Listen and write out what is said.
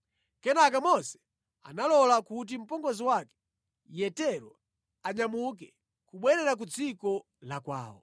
Kenaka Mose analola kuti mpongozi wake, Yetero anyamuke kubwerera ku dziko la kwawo.